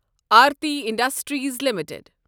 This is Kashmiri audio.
Aarti industries limited